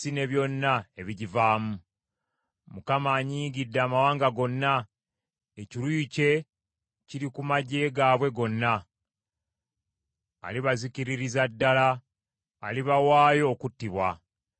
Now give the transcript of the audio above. Mukama anyiigidde amawanga gonna, ekiruyi kye kiri ku magye gaabwe gonna. Alibazikiririza ddala, alibawaayo okuttibwa.